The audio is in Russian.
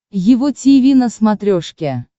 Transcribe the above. его тиви на смотрешке